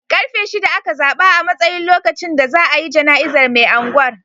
Karfe shida aka zaɓa a matsayin lokacin da za a yi jana'izar mai angwar.